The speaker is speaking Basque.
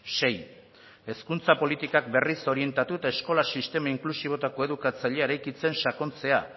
sei hezkuntza politikak berriz orientatu eta eskola sistema inklusibo eta koedukatzailea eraikitzen sakontzea